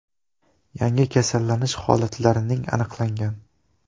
Yangi kasallanish holatlarining aniqlangan.